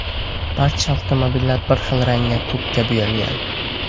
Barcha avtomobillar bir xil rangga ko‘kka bo‘yalgan.